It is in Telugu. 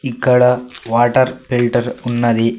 ఇక్కడ వాటర్ ఫిల్టర్ ఉన్నది.